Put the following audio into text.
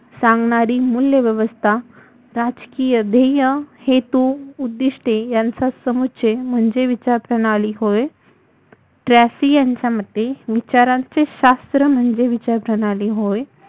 सांगणारी मूल्यव्यवस्था राजकीय ध्येय हेतु उद्दीष्टे यांचा समुचय म्हणजेे विचारप्रणाली होय ट्रॅफी यांच्यामते विचारांचे शास्त्र म्हणजे विचारप्रणाली होय